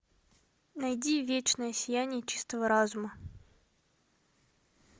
найди вечное сияние чистого разума